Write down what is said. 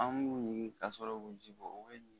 An b'u wugu ka sɔrɔ o bɛ ji bɔ o